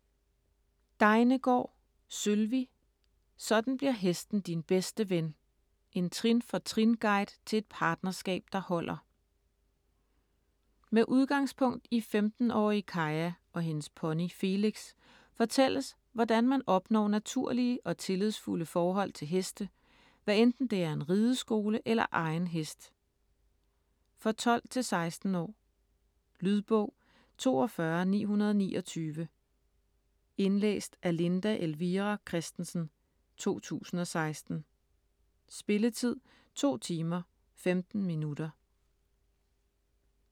Degnegaard, Sølvi: Sådan bliver hesten din bedste ven: en trin for trin-guide til et partnerskab, der holder Med udgangspunkt i 15 årige Kaja og hendes pony Felix fortælles, hvordan man opnår naturlige og tillidsfulde forhold til heste, hvad enten det er en rideskole eller egen hest. For 12-16 år. Lydbog 42929 Indlæst af Linda Elvira Kristensen, 2016. Spilletid: 2 timer, 15 minutter.